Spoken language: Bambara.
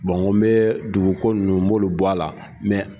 Mɔgɔ bɛ dunu ko nunnu n b'olu bɔ a la